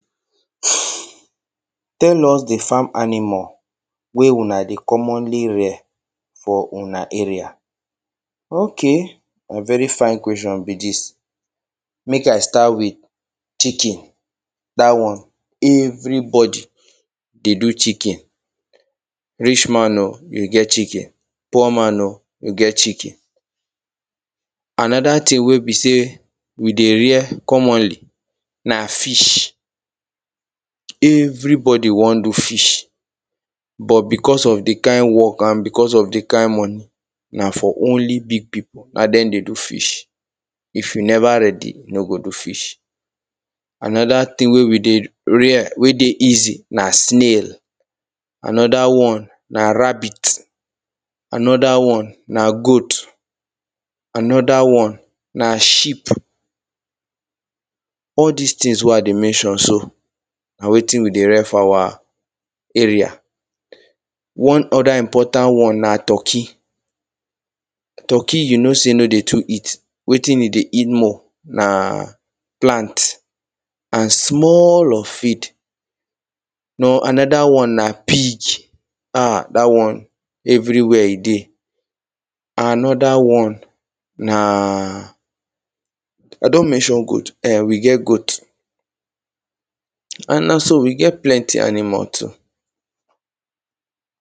Tell us the farm animal wey una dey commonly rear for una area. Okay, na very fine question be dis. Mek I start with chicken. Dat one everybody dey do chicken. Rich man o, you get chicken. Poor man o, you get chicken. Another thing wey be say we dey rear commonly, na fish. Everybody wan do fish. But, because of the kind work, and because of the kind money, na for only big people, na them dey do fish. If you never ready, you no go do fish. Another thing wey we dey rear, wey dey easy na snail. Another one, na rabbit. Another one, na goat. Another one na sheep. All dis things wey I dey mention so, na wetin we dey rear for our area. One other important one na turkey. Turkey, you know say no dey too eat. Wetin e dey eat more na plant. And small of feed. Now...another one na pig. um, dat one, everywhere, e dey. Another one na I don mention goat um, we get goat. And na so, we get plenty animal too.